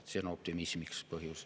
See on põhjus optimismiks.